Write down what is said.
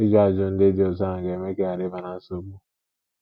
Ịjụ ajụjụ ndị dị otú ahụ ga - eme ka ị ghara ịba ná nsogbu.